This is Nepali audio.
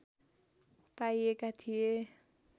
पाइएका थिए